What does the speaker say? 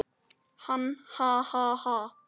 Hann: Ha ha ha.